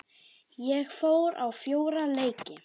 Ég fór á fjóra leiki.